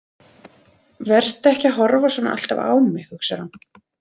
Vertu ekki að horfa svona alltaf á mig, hugsar hún.